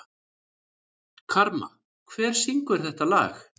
Karma, hver syngur þetta lag?